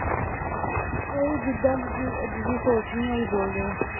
ਓਹੀ ਜਿੱਦਾਂ ਦੀ ਜਿਸ ਦੀ ਸੋਚ ਨੀ ਓਹੀ ਬੋਲਦੇ ਆ